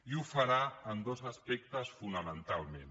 i ho farà en dos aspectes fonamentalment